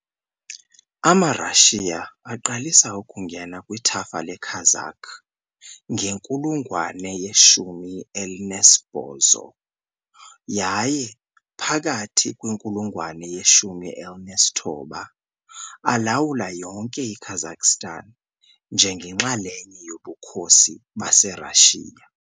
AmaRashiya aqalisa ukungena kwithafa leKazakh ngenkulungwane ye-18 yaye, phakathi kwinkulungwane ye-19, alawula yonke iKazakhstan njengenxalenye yoBukhosi baseRashiya .